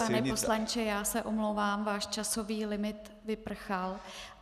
Pane poslanče, já se omlouvám, váš časový limit vyprchal.